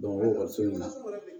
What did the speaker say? ekɔliso in na